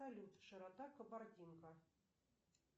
салют широта кабардинка